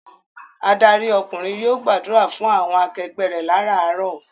Adarí ọkùnrin yóò gbàdúrà fún àwọn akẹgbẹ́ rẹ láràárọ̀.